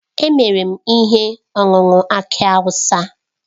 Emere m ihe ọṅụṅụ aki awụsa.